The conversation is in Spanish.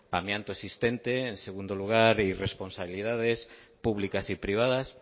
amianto existente en segundo lugar y responsabilidades públicas y privadas